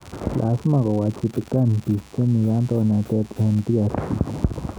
Lasima ko wachibikan biik che mi kandoinatet eng DRC